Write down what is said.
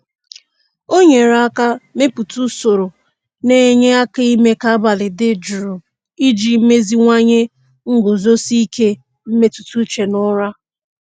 O nyere aka mepụta usoro na-enye aka ime ka abalị dị jụụ iji meziwanye nguzosi ike mmetụtauche na ụra.